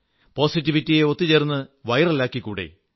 പോസിറ്റിവിറ്റിയെ ഒത്തുചേർന്ന് വൈറലാക്കിക്കൂടേ